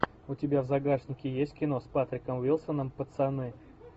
у тебя в загашнике есть кино с патриком уилсоном пацаны